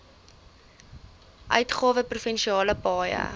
uitgawe provinsiale paaie